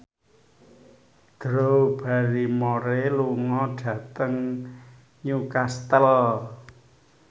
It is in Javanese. Drew Barrymore lunga dhateng Newcastle